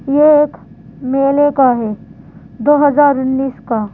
ये एक मेले का है दो हजार उन्नीस का --